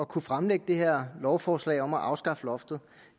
kunne fremsætte det her lovforslag om at afskaffe loftet